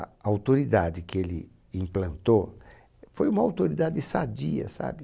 A autoridade que ele implantou foi uma autoridade sadia, sabe?